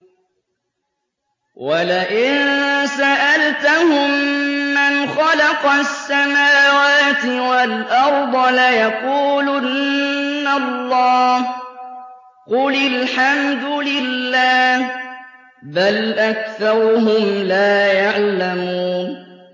وَلَئِن سَأَلْتَهُم مَّنْ خَلَقَ السَّمَاوَاتِ وَالْأَرْضَ لَيَقُولُنَّ اللَّهُ ۚ قُلِ الْحَمْدُ لِلَّهِ ۚ بَلْ أَكْثَرُهُمْ لَا يَعْلَمُونَ